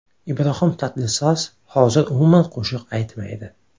Ibrohim Tatlisas hozir umuman qo‘shiq aytmaydi.